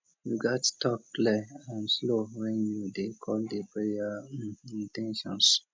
you gats talk clear and slow when you dey call di prayer in ten tions